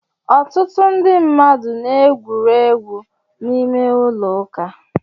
Ọtụtụ ndị mmadụ na-egwuri egwu n'ime ụlọ ụka.